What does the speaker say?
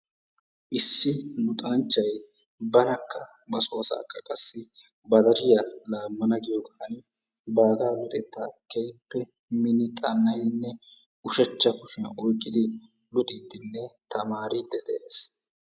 Issi luxanchchay banakka ba so asaakka qassi ba deriya laammana giyogan baagaa luxettaa keehippe minni xanna'idinne ushachcha kushiyan oyiqqidi luxiiddinne tamaariiddi dees.